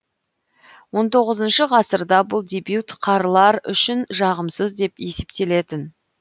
он тоғызыншы ғасырда бұл дебют қаралар үшін жағымсыз деп есептелетін